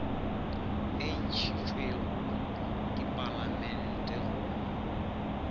e ntšhitšwego ke palamente go